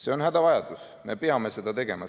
See on hädavajadus, me peame seda tegema.